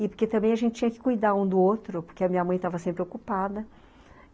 E porque também a gente tinha que cuidar um do outro, porque a minha mãe estava sempre ocupada.